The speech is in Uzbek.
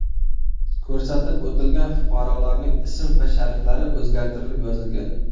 Ko‘rsatib o‘tilgan fuqarolarning ism va shariflari o‘zgartirilib yozilgan.